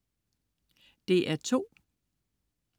DR2: